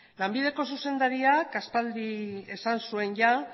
lanbideko zuzendariak aspaldi esan zuen jada